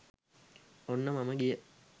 ඔන්න මම ගිය